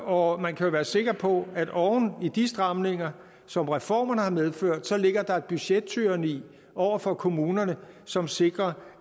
og man kan være sikker på at oven i de stramninger som reformerne medfører ligger der et budgettyranni over for kommunerne som sikrer